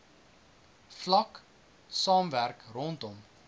vlak saamwerk rondom